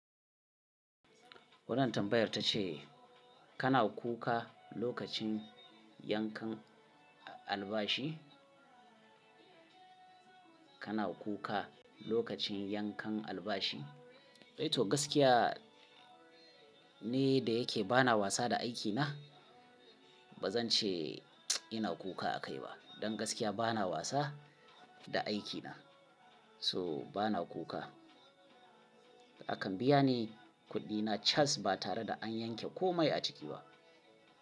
Wanna tambayar ta ce kana kuka lokacin yankan albashi? Kana kuka lokacin yankan albashi? To gaskiya ni da yake ba na wasa da aikina. Ba zan ce ina kuka a kai ba. Don gaskiya ba na wasa da aikina. So ba na kuka. Akan biya ni kuɗina cas ba tare da an yanke komai a ciki ba.